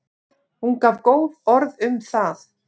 Hún gaf góð orð um það.